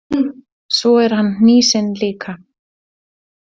Svo er hann hnýsinn líka.